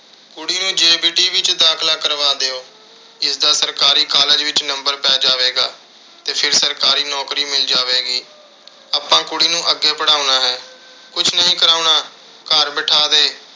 ਕੁੜੀ ਨੂੰ JBT ਵਿੱਚ ਦਾਖਲਾ ਕਰਵਾ ਦਿਓ। ਇਸਦਾ ਸਰਕਾਰੀ college ਵਿੱਚ number ਪੈ ਜਾਵੇਗਾ ਤੇ ਫਿਰ ਸਰਕਾਰੀ ਨੌਕਰੀ ਮਿਲ ਜਾਵੇਗੀ। ਆਪਾਂ ਕੁੜੀ ਨੂੰ ਅੱਗੇ ਪੜ੍ਹਾਉਣਾ ਹੈ। ਕੁਸ਼ ਨਹੀਂ ਕਰਾਉਣਾ। ਘਰ ਬਿਠਾ ਦੇ।